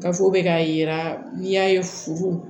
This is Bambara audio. Gafew bɛ k'a yira n'i y'a ye furu